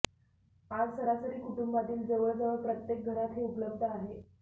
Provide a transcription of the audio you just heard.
आज सरासरी कुटुंबातील जवळजवळ प्रत्येक घरात हे उपलब्ध आहे